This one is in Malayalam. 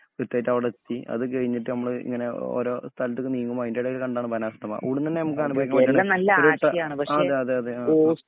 കൃത്യായിട്ട് അവിടെത്തി അതുകഴിഞ്ഞിട്ട് നമ്മള് ഇങ്ങനെ ഓരോ സ്ഥലത്തക്ക് നീങ്ങുമ്പോൾ അതിന്റേടയിൽ കണ്ടതാണ് ബാണാസുര ഡാം . ഇവിടുന്ന് തന്നെ നമുക്ക് അനുഭവിക്കാൻ വേണ്ടിയിട്ട് ഒരു ആഹ് അതെ അതെ അതെ